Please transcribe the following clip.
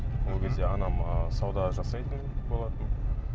ол кезде анам ы сауда жасайтын болатын